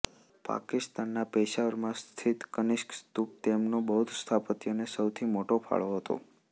પાકિસ્તાનના પેશાવરમાં સ્થિત કનિષ્ક સ્તૂપ તેમનો બૌદ્ધ સ્થાપત્યને સૌથી મોટો ફાળો હતો